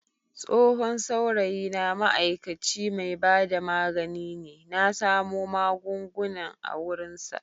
Tsohon saurayina ma'aikaci mai bada magani ne na samo magungunan a wurinsa.